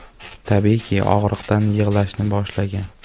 Tabiiyki og‘riqdan yig‘lashni boshlagan.